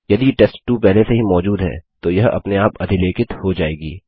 यदि टेस्ट2 पहले से ही मौजूद है तो यह अपने आप अधिलेखित हो जायेगी